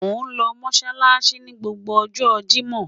Mo nlo si Mossalassi ni gbogbo ọjọ Jimọ